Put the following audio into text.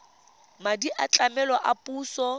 madi a tlamelo a puso